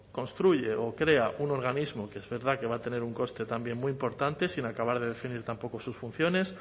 construye o crea un organismo que es verdad que va a tener un coste también muy importante sin acabar de definir tampoco sus funciones